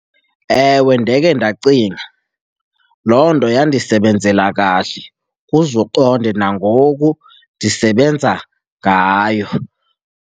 Ewe, ndekhe ndacinga. Loo nto yandisebenzela kahle, uze uqonde nangoku ndisebenza ngayo.